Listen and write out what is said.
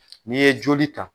N'i ye joli ta.